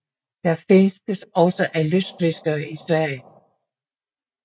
Den fiskes også af lystfiskere i Sverige